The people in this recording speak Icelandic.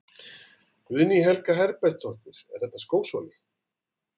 Guðný Helga Herbertsdóttir: Er þetta skósóli?